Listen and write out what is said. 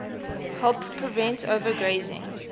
help prevent overgrazing